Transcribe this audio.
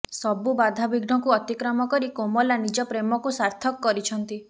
ସବୁ ବାଧାବିଘ୍ନକୁ ଅତିକ୍ରମ କରି କୋମଲା ନିଜ ପ୍ରେମକୁ ସାର୍ଥକ କରିଛନ୍ତି